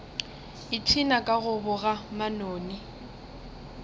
ipshina ka go boga manoni